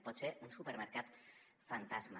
pot ser un supermercat fantasma